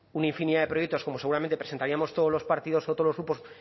una infinidad de proyectos como seguramente presentaríamos todos los partidos o todos los grupos